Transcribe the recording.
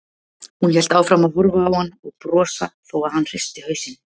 Hún hélt áfram að horfa á hann og brosa þó að hann hristi hausinn.